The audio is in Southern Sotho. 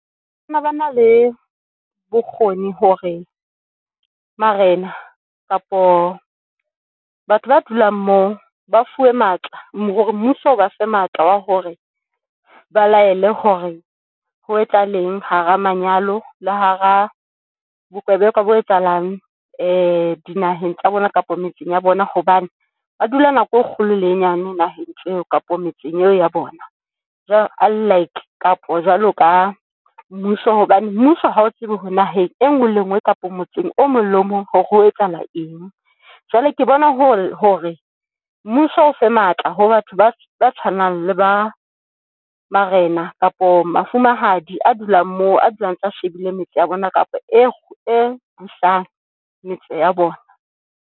Ba ne bana le bokgoni hore marena kapo batho ba dulang moo ba fuwe matla hore mmuso o ba fe matla a hore ba laele hore ho etsahaleng hara manyalo le hara bokebekwa bo etsahalang dinaheng tsa bona kapa metseng ya bona hobane ba dula nako e kgolo lenyane naheng ntho eo kapa metseng eo ya bona jwalo unlike kapo jwalo ka mmuso. Hobane mmuso ha o tsebe hore naheng e ngwe le engwe kapo motseng o mong le mong hore ho etsahala eng, jwale ke bona hore mmuso o fe matla ho batho ba ba tshwanang le ba marena kapo mafumahadi a dulang mo a dulang antsa shebile metse ya bona kapa eo e busang metso ya bona.